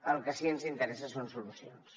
el que sí que ens interessa són solucions